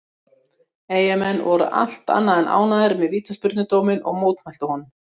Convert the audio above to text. Eyjamenn voru allt annað en ánægður með vítaspyrnudóminn og mótmæltu honum.